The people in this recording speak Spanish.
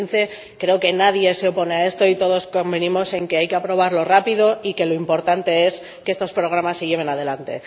2015. Creo que nadie se opone a esto y todos convinimos en que hay que aprobarlo rápido y que lo importante es que estos programas se lleven adelante.